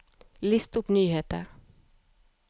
list opp nyheter